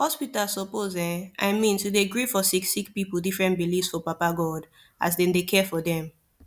hospitas suppos erm i mean to dey gree for sicki sicki pipu different beliefs for baba godey as dem dey care for dem